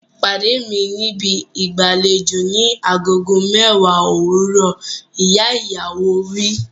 Pàdé mi níbi ìgbàlejò ni agogo mẹ́wàá òwúrọ̀! Ìyá ìyàwó wí.